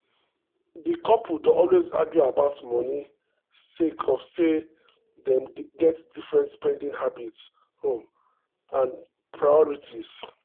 di couple dey always argue about money sake of say um dem get different spending habits um and priorities. um